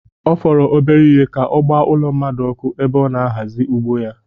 Ọ fọrọ obere ihe ka ọ gbaa ụlọ mmadụ ọkụ ebe ọ na-ahazi ugbo ya